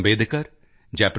Ambedkar Jai